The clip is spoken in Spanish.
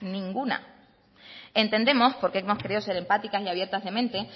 ninguna entendemos porque hemos querido ser empáticas y abiertas de mente